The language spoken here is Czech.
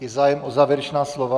Je zájem o závěrečná slova?